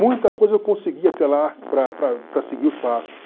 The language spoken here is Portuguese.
Muita coisa eu consegui até lá para para para seguir os passos.